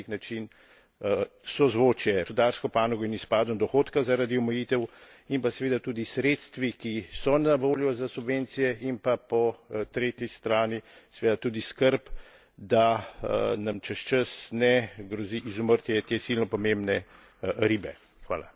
In tukaj je treba najti na nek način sozvočje med gospodarsko panogo in izpadom dohodka zaradi omejitev, in pa seveda tudi sredstvi, ki so na voljo za subvencije, in pa po tretji strani seveda tudi skrb, da nam čez čas ne grozi izumrtje te silno pomembne ribe.